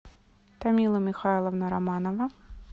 тамила михайловна романова